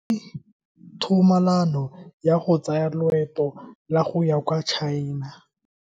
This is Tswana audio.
O neetswe tumalano ya go tsaya loeto la go ya kwa China.